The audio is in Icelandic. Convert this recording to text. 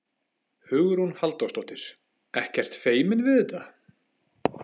Hugrún Halldórsdóttir: Ekkert feiminn við þetta?